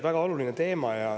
Väga oluline teema.